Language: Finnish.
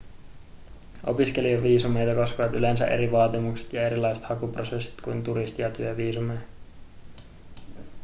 opiskelijaviisumeita koskevat yleensä eri vaatimukset ja erilaiset hakuprosessit kuin turisti- ja työviisumeja